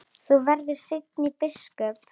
Þú verður seint biskup!